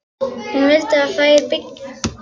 Hún vildi að þær byggju þar saman.